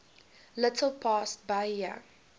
little past bahia